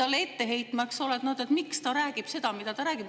talle ette heitma, miks ta räägib seda, mida ta räägib.